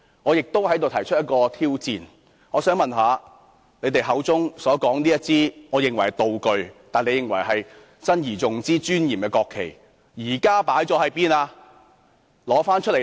我亦想在此提出一項挑戰，我想問他們口中所說這面我認為是道具，但他們認為是要珍而重之和很莊嚴的國旗，現時究竟擺放在哪裏？